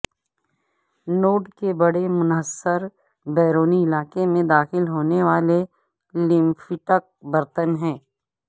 node کے بڑے منحصر بیرونی علاقے میں داخل ہونے والے لیمفیٹک برتن ہیں